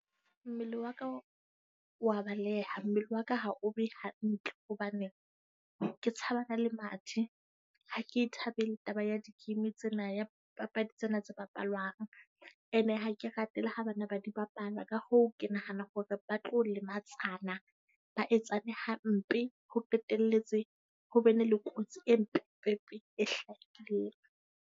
Mmele wa ka o wa baleha, mmele wa ka ha o be hantle hobane ke tshabana le mathe. Ha ke e thabele taba ya di game tsena ya papadi tsena tse bapalwang. Ene ha ke rate le ha bana ba di bapala, ka hoo, ke nahana hore ba tlo lematsana, ba etsane hampe. Ho qetelletse ho be ne le kotsi empe e hlahileng.